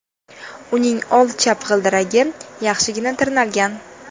Uning old chap g‘ildiragi yaxshigina tirnalgan.